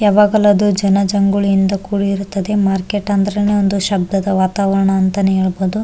ಯಾವಾಗಲು ಅದು ಜನ ಜಂಗುಳಿಯಿಂದ ಕೂಡಿರುತ್ತದೆ ಮಾರ್ಕೆಟ್ ಅಂದ್ರೇನೆ ಒಂದು ಶಬ್ದದ ವಾತಾವರಣ ಅಂತನೇ ಹೇಳ್ಬಹುದು.